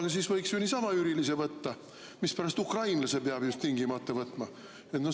No siis võiks ju niisama üürilise võtta, mispärast ukrainlase peab tingimata võtma?